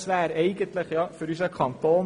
Das wäre gut für unseren Kanton.